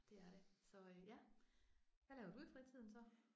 Det er det så ja. Hvad laver du i fritiden så?